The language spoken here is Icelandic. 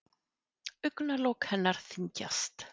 Augnalok hennar þyngjast.